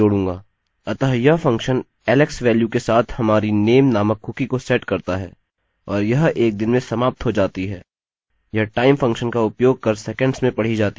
अतः यह function alex value के साथ हमारी name नामक कुकी को सेट करता है और यह एक दिन में समाप्त हो जाती है – यह टाइम फंक्शन का उपयोग कर सेकंड्स में पढ़ी जाती है